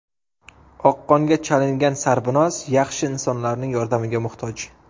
Oqqonga chalingan Sarvinoz yaxshi insonlarning yordamiga muhtoj.